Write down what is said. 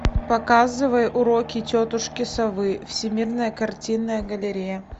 показывай уроки тетушки совы всемирная картинная галерея